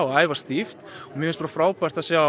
æfa stíft og frábært að sjá